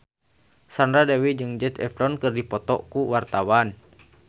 Sandra Dewi jeung Zac Efron keur dipoto ku wartawan